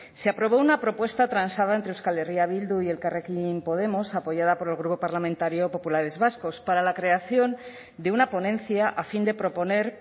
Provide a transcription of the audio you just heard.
se aprobó una propuesta transada entre euskal herria bildu y elkarrekin podemos apoyada por el grupo parlamentario populares vascos para la creación de una ponencia a fin de proponer